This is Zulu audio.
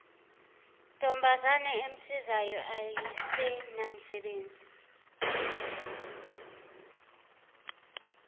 ntombazana emsizayo ayisenamsebenzi